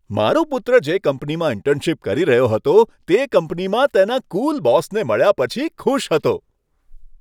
મારો પુત્ર જે કંપનીમાં ઇન્ટર્નશિપ કરી રહ્યો હતો તે કંપનીમાં તેના કૂલ બોસને મળ્યા પછી ખુશ હતો.